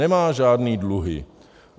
Nemá žádné dluhy.